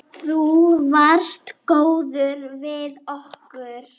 Þú varst góður við okkur.